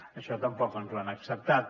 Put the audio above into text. això tampoc ens ho han acceptat